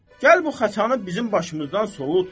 Gəl bu xəçanı bizim başımızdan solut.